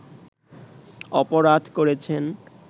অপরাধ করেছেন